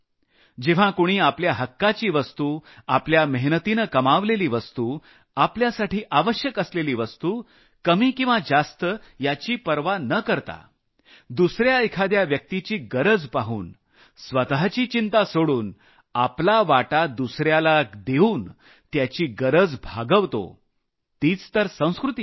जेव्हा कुणी आपल्या हक्काची वस्तु आपल्या मेहनतीनं कमावलेली वस्तु आपल्यासाठी आवश्यक असलेली वस्तु कमी किंवा जास्त याची पर्वा न करता दुसऱ्या एखाद्या व्यक्तिची गरज पाहून स्वतःची चिंता सोडून आपला वाटा दुसऱ्याला देऊन त्याची गरज भागवतो तीच तर संस्कृती आहे